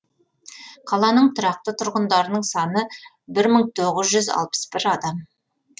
қаланың тұрақты тұрғындарының саны бір мың тоғыз жүз алпыс бір